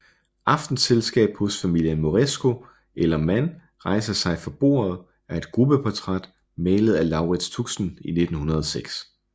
Aftenselskab hos Familien Moresco eller Man rejser sig fra Bordet er et gruppeportræt malet af Laurits Tuxen i 1906